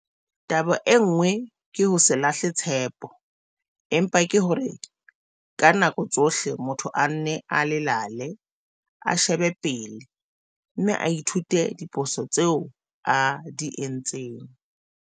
Taba e nngwe ke ho se lahle tshepo, empa ke hore ka nako tsohle motho a nne a lelale, a shebe pele, mme a ithute diphosong tseo a di entseng.